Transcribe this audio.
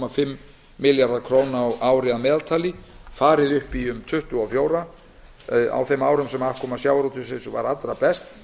fimm milljarðar króna á ári að meðaltali farið upp í um tuttugu og fjóra milljarða króna á þeim árum sem afkoma sjávarútvegsins var allra best